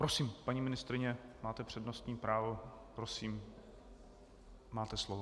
Prosím, paní ministryně, máte přednostní právo, prosím, máte slovo.